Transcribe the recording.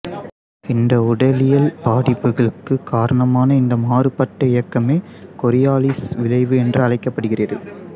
இந்த உடலியல் பாதிப்புகளுக்கு காரணமான இந்த மாறுபட்ட இயக்கமே கோரியாலிஸ் விளைவு என்று அழைக்கப்படுகிறது